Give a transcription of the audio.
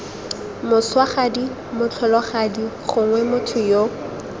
moswagadi motlholagadi gongwe motho yo